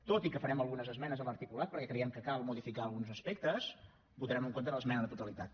tot i que farem algunes esmenes a l’articulat perquè creiem que cal modificar alguns aspectes votarem en contra de l’esmena a la totalitat